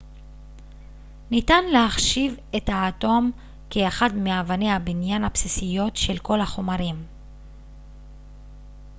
ניתן להחשיב את האטום כאחד מאבני הבניין הבסיסיות של כל החומרים